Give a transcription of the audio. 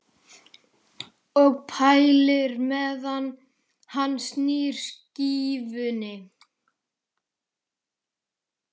Og pælir meðan hann snýr skífunni.